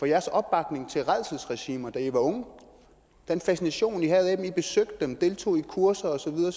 jeres opbakning til rædselsregimer da i var unge den fascination i havde af dem i besøgte dem deltog i kurser og så videre